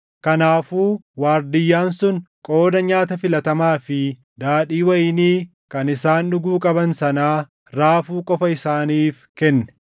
Kanaafuu waardiyyaan sun qooda nyaata filatamaa fi daadhii wayinii kan isaan dhuguu qaban sanaa raafuu qofa isaaniif kenne.